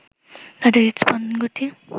তাদের হৃদস্পন্দন গতি